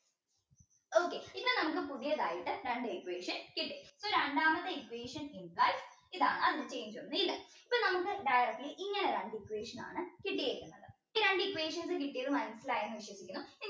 okay ഇന്ന് നമുക്ക് പുതിയതായിട്ട് രണ്ട് equation കിട്ടി രണ്ടാമത്തെ equation ഇതാണ് അതിൽ change ഒന്നുല്ല ഇപ്പൊ നമുക്ക് directly ഇങ്ങനെ രണ്ട് equation ആണ് കിട്ടിയേക്കുന്നത് ഈ രണ്ട് equations കിട്ടിയത് മനസിലായി എന്ന് വിശ്വസിക്കുന്നു